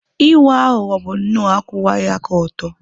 Ịwa aghụghọ bụ nnọọ akwụwaghị aka ọtọ.